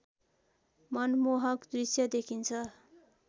मनमोहक दृश्य देखिन्छ